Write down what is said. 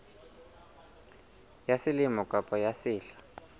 ya selemo kapa ya sehla